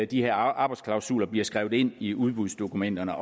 de her arbejdsklausuler bliver skrevet ind i udbudsdokumenterne